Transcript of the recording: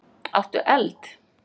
Áttu eld?